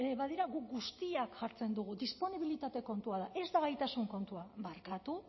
badira guk guztiak jartzen dugu disponibilitate kontua da ez da gaitasun kontua barkatu